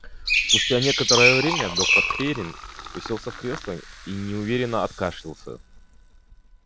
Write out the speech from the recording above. спустя некоторое время доктор пиренн уселся в кресло и неуверенно откашлялся